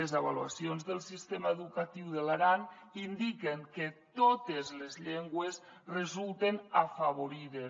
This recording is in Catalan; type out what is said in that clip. les avaluacions del sistema educatiu de l’aran indiquen que totes les llengües resulten afavorides